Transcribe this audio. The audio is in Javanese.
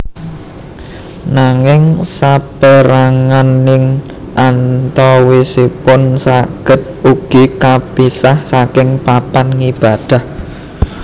Nanging sapérangan ing antawisipun saged ugi kapisah saking papan ngibadah